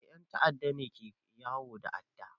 Eh 'yan ta'adda ne ke yawo da adda.